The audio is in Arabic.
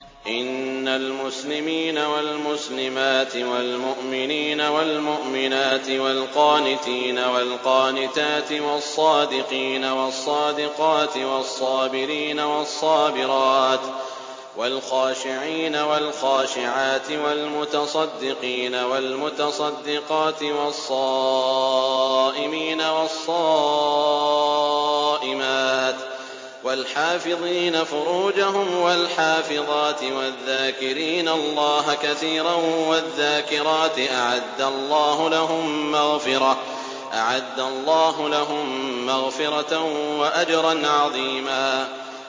إِنَّ الْمُسْلِمِينَ وَالْمُسْلِمَاتِ وَالْمُؤْمِنِينَ وَالْمُؤْمِنَاتِ وَالْقَانِتِينَ وَالْقَانِتَاتِ وَالصَّادِقِينَ وَالصَّادِقَاتِ وَالصَّابِرِينَ وَالصَّابِرَاتِ وَالْخَاشِعِينَ وَالْخَاشِعَاتِ وَالْمُتَصَدِّقِينَ وَالْمُتَصَدِّقَاتِ وَالصَّائِمِينَ وَالصَّائِمَاتِ وَالْحَافِظِينَ فُرُوجَهُمْ وَالْحَافِظَاتِ وَالذَّاكِرِينَ اللَّهَ كَثِيرًا وَالذَّاكِرَاتِ أَعَدَّ اللَّهُ لَهُم مَّغْفِرَةً وَأَجْرًا عَظِيمًا